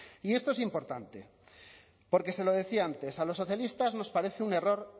y esto es importante porque se lo decía antes a los socialistas nos parece un error